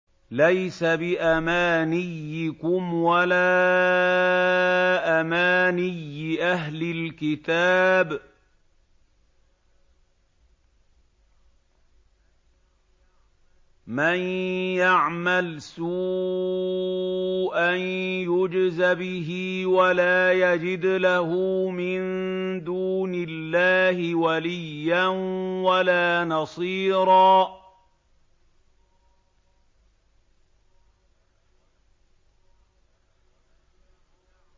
لَّيْسَ بِأَمَانِيِّكُمْ وَلَا أَمَانِيِّ أَهْلِ الْكِتَابِ ۗ مَن يَعْمَلْ سُوءًا يُجْزَ بِهِ وَلَا يَجِدْ لَهُ مِن دُونِ اللَّهِ وَلِيًّا وَلَا نَصِيرًا